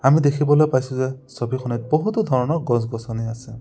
আমি দেখিবলৈ পাইছোঁ যে ছবিখনত বহুতো ধৰণৰ গছ গছনি আছে।